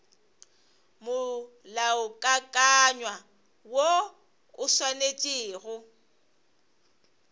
molaokakanywa woo o swanetše go